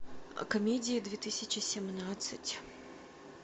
комедии две тысячи семнадцать